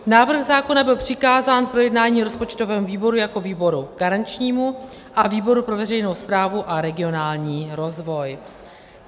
Návrh zákona byl přikázán k projednání rozpočtovému výboru jako výboru garančnímu a výboru pro veřejnou správu a regionální rozvoj.